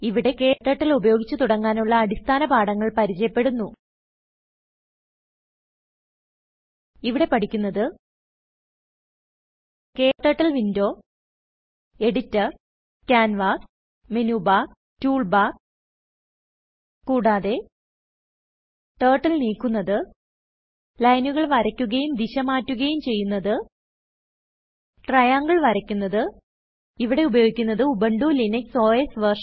ഇവിടെKTurtle ഉപയോഗിച്ച് തുടങ്ങാനുള്ള അടിസ്ഥാന പാഠങ്ങൾ പരിചയപ്പെടുന്നു ഇവിടെ പഠിക്കുന്നത് KTurtle window editor canvas menu bar toolbar കൂടാതെ ടർട്ടിൽ നീക്കുന്നത് ലൈനുകൾ വരയ്ക്കുകയും ദിശ മാറ്റുകയും ചെയ്യുന്നത് triangleവരയ്ക്കുന്നത് ഇവിടെ ഉപയോഗിക്കുന്നത് ഉബുന്റു ലിനക്സ് ഓസ് വെർഷൻ